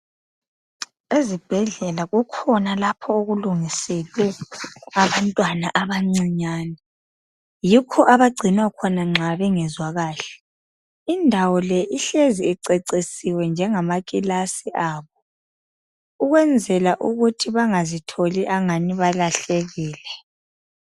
Ezibhedlela kukhona lapho okulungiselwe abantwana abancinyane yikho abagcinwa khona nxa bengezwa kahle indawo le ihlezi icecisiwe njengama kilasi abo ukwenzela ukuthi bangazitholi angani balahlekile.